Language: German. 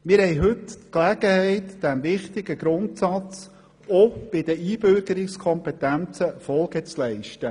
Heute haben wir die Gelegenheit, diesem wichtigen Grundsatz auch bei den Einbürgerungskompetenzen Folge zu leisten.